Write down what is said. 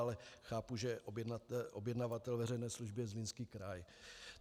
Ale chápu, že objednavatel veřejné služby je Zlínský kraj.